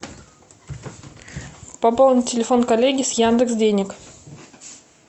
пополнить телефон коллеги с яндекс денег